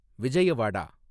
Vijayawada